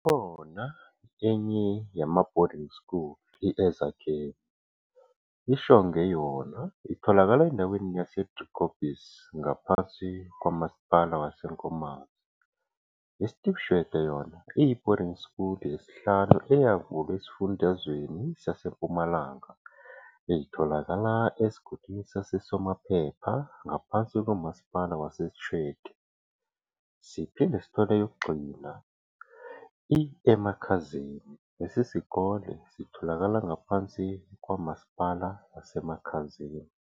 kukhona enye yama "boarding school" i-Ezakheni.i-Shongwe yona itholakala endaweni yase Driekopies ngaphansi kwamasipala wase Nkomazi.i-Steve Tshwete yona iyi-boarding school yesihlanu eyavulwa esifundazweni saseMpumalanga itholakala esigodini sase Somaphepha ngaphansi komasipala wase Tshwete. Siphinde sithole eyokugcina i-Emakhazeni lesisikole sitholakala ngaphansi kwamasipala waseMakhazeni.